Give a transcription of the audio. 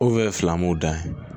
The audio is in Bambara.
O ye filamuw dan ye